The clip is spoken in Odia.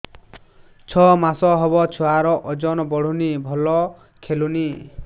ଛଅ ମାସ ହବ ଛୁଆର ଓଜନ ବଢୁନି ଭଲ ଖେଳୁନି